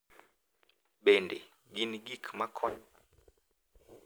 Bende, gin gik ma konyo ahinya.